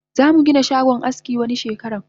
Zamu Gina shagon aski wani shekaran